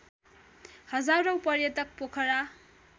हजारौँ पर्यटक पोखरा